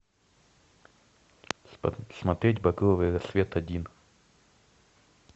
смотреть багровый рассвет один